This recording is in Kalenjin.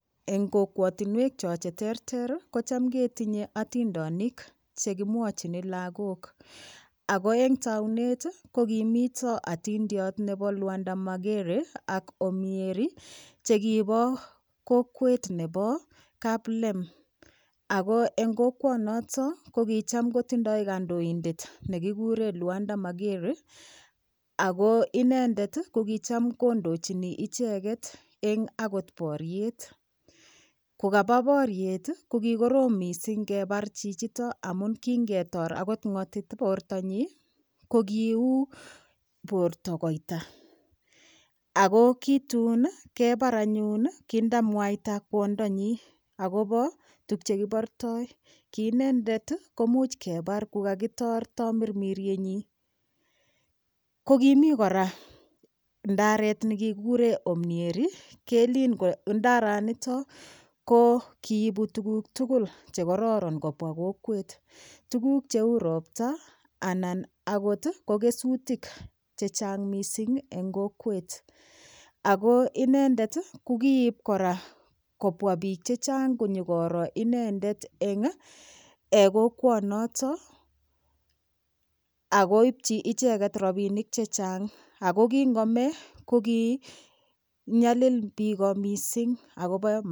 Eng' kokwotinwek cho cheterter ko cham ketinye atindonik chekemwochini lakok ako eng' taunet komito atindiot nebo Lwanda Magere ak omnieri chekibo kokwet nebo kaplem ako eng' kokwonoto ko kokicham kotindoi kandoindet nekikuren Lwanda Magere ako inendet ko kicham kondochini icheget eng' akot boriet kokaba boriet ko kikorom mising' kebar chichito amun kingetor akot ng'otit bortonyi ko kiui borto koita ako ki tun kebar anyun kindamwaita kwondonyi akobo tukchekibortoi ki inendet komuch kebar kukakitor tamirmiryenyi ko kimi kora ndaret nekikikure omnieri kelin ndaranito ko kiibu tukuk tugul chekororon kobwa kokwet tukuk cheu ropta anan akot ko kesutik chechang' mising' eng' kokwet ako inendet ko kiibu kora kobwa biik chechang' konyikori inendet eng' kokwoonoto akoibchi icheget robinik chechang' ako kingome ko kinyalil biko mising'